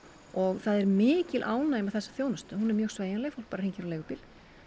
og það er mikil ánægja með þessa þjónustu hún er mjög sveigjanleg fólk bara hringir á leigubíl